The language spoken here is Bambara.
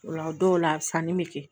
O la dɔw la sanni bɛ kɛ